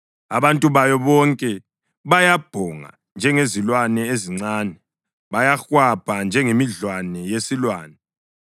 Abantu bayo bonke bayabhonga njengezilwane ezincane, bayahwabha njengemidlwane yesilwane.